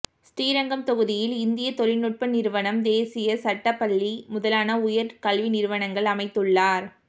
ஸ்ரீரங்கம் தொகுதியில் இந்திய தொழில்நுட்ப நிறுவனம் தேசிய சட்டப் பள்ளி முதலான உயர் கல்வி நிறுவனங்கள் அமைத்துள்ளார்